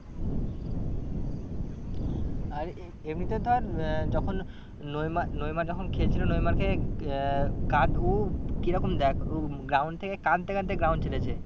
আর এমনিতে ধর আহ যখন নইমা নেইমার যখন খেলছিল নেইমারকে আহ কি রকম দেখ ও ground থেকে কাঁদতে কাঁদতে ground ছেড়েছে।